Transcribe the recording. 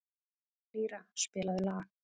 Lýra, spilaðu lag.